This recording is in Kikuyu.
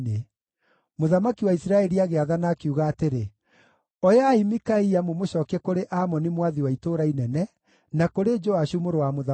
Mũthamaki wa Isiraeli agĩathana, akiuga atĩrĩ, “Oyai Mikaia mũmũcookie kũrĩ Amoni mwathi wa itũũra inene, na kũrĩ Joashu mũrũ wa mũthamaki,